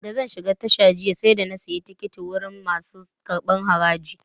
Da zan shiga tasha jiya, sai da na sayi tikiti wurin masu karɓar haraji.